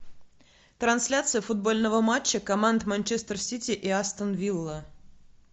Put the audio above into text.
трансляция футбольного матча команд манчестер сити и астон вилла